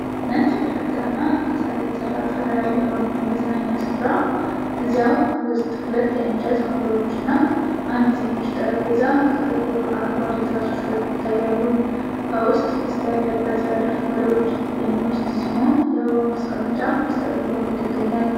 ነጭ ግድግዳና ከሳር የተሰራ ጣሪያ ያለውን የመዝናኛ ስፍራ። እዚያው ውስጥ ሁለት የእንጨት ወንበሮች እና አንድ ትንሽ ጠረጴዛ ከጥቁር አረንጓዴ ትራሶች ጋር ይታያሉ። ከውስጥ ቅስት ያለበት በር ወደ ውጭ የሚወስድ ሲሆን የአበባ ማስቀመጫ በስተቀኝ በኩል ይገኛል።